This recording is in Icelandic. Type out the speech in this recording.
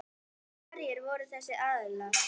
Hverjir voru þessir aðilar?